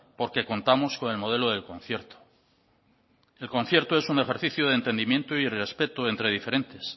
porque contamos con el modelo del concierto el concierto es un ejercicio de entendimiento y respeto entre diferentes